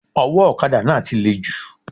Owó òkadà náà ti le jù